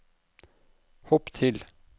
hopp til